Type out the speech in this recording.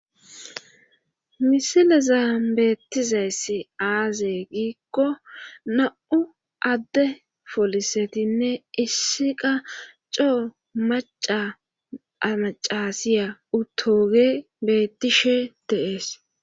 Misilezan beettizayssi aaze giikko na'u adde polisetinne issi qa coo maca ha macasiya utooge beettishe de'ees